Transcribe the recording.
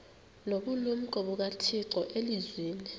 nobulumko bukathixo elizwini